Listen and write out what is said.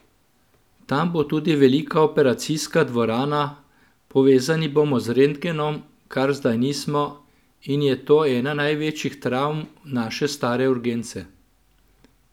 Tam bo tudi velika operacijska dvorana, povezani bomo z rentgenom, kar zdaj nismo in je to ena največjih travm naše stare urgence.